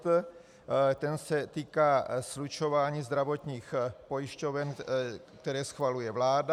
Ten se týká slučování zdravotních pojišťoven, které schvaluje vláda.